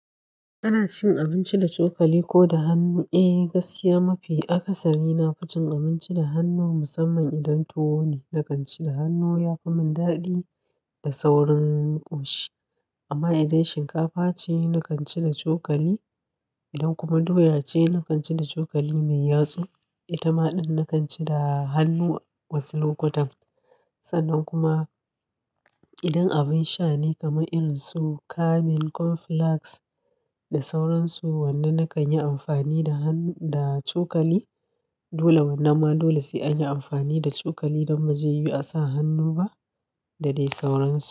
Kana cin abinci da cokali ko da hannu. Eh, gaskiya mafi akasari na fi cin abinci da hannu musamman idan tuwo ne. Na kan ci da hannu ya fi min daɗi da saurin ƙoshi. Amma idan shinkafa ce, na kan ci da cokali. Idan kuma doya ce, na kan ci da cokali mai yatsu. Itamaɗɗen na kan ci da hannu wasu lokutan. Sannan kuma idan abin sha ne kamar irin su kamin, cornflakes da sauran su, wannan na kan yi amfani da cokali. Dole, wannan ma dole sai an yi amfani da cokali don bzaiyiwu a sa hannu ba da dai sauransu.